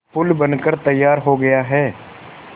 पुल बनकर तैयार हो गया है